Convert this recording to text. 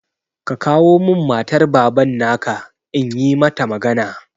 Ka kawo min matar Baban na ka, in yi mata magana!